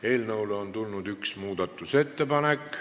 Eelnõu kohta on tulnud üks muudatusettepanek.